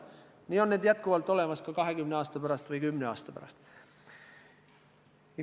Samamoodi on need olemas ka 20 aasta pärast või 10 aasta pärast.